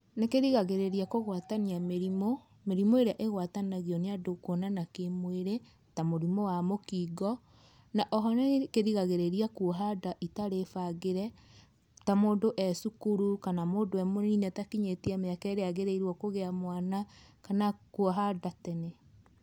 Nĩ kĩrigagĩrĩria kũgwatania mĩrimũ, mĩrimũ ĩrĩa ĩgwatanagio nĩ andũ kũonana kĩ mwĩrĩ, ta mũrimũ wa mũkingo na o ho nĩ ĩkĩrigagĩrĩria kũoha nda, itarĩ bangĩre ta mũndũ e cukuru kana mũndũ e mũnini atakinyĩtie mĩaka ĩrĩa agĩrĩirwo kũgĩa mwana kana kũoha nda tene.